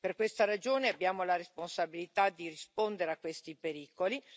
Per questa ragione abbiamo la responsabilità di rispondere a questi pericoli.